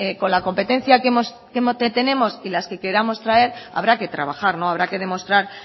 con la competencia que tenemos y las que queramos traer habrá que trabaja habrá que demostrar